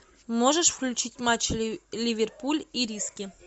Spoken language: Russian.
можешь включить матч ливерпуль ириски